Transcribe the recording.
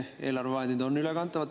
Eelarvevahendid on ülekantavad.